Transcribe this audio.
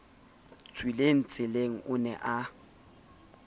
tswileng tseleng o ne a